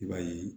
I b'a ye